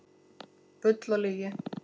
Bull og lygi